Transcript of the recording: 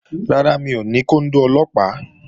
Rárá, mi ò ní kóndó Ọlọ́pàá